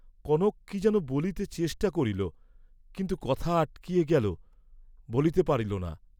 কনক কি যেন বলিতে চেষ্টা করিল, কিন্তু কথা আটকিয়া গেল, বলিতে পারিল না।